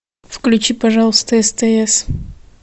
включи пожалуйста стс